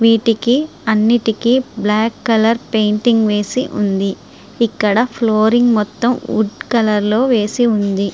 వీటికి అన్నిటికీ black colour painting వేసి ఉంది. ఇక్కడ ఫ్లోరింగ్ మొత్తం వుడ్ కలర్ లో వేసి ఉంది.